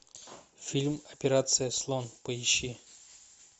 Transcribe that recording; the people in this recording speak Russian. фильм операция слон поищи